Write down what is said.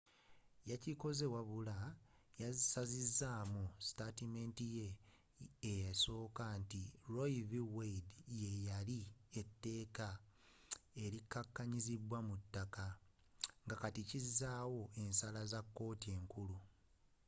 yakikoze wabula yasazizamu sitaatimenti ye esooka nti roe v. wade yeyali etteeka elikakanyizidwa mu ttaka” ngakatiiriza ensaalawo za kkooti enkulu